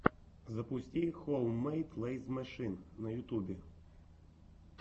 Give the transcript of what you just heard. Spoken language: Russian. запусти хоуммэйд лэйз мэшин на ютьюбе